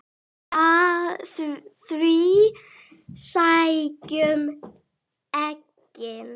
Við sækjum eggin.